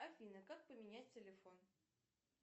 афина как поменять телефон